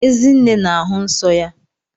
Ezinne na-ahụ nsọ ya.